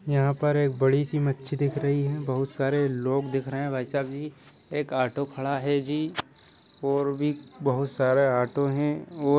यहाँ पर एक बड़ी सी मच्छी दिख रही है। बहुत सारे लोग दिख रहे हैं भाईसाब जी। एक ऑटो खड़ा है जी और भी बहुत सारा ऑटो हैं और--